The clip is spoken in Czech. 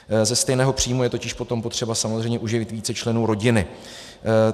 Ze stejného příjmu je totiž potom potřeba samozřejmě uživit více členů rodiny.